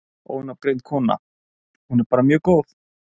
Ónafngreind kona: Hún er bara mjög góð?